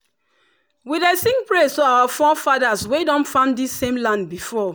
we dey sing praise to our forefathers wey don farm this same land before.